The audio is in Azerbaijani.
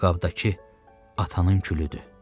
Bu qabdakı atanın külüdür.